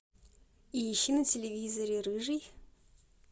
ищи на телевизоре рыжий